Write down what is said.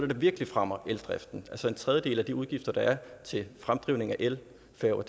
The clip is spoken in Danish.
der virkelig fremmer eldriften altså en tredjedel af de udgifter der er til fremdrivning af elfærger